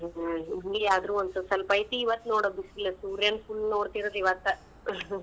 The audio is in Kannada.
ಹ್ಮ್‌ ಇಲ್ಲಿ ಆದ್ರೂ ಒಂದ್ ಸ್ವಲ್ಪ ಐತಿ ಇವತ್ ನೋಡ್ ಬಿಸಲ್ ಸೂರ್ಯಾನ್ full ನೋಡ್ತಿರೋದ್ ಇವತ್ತ .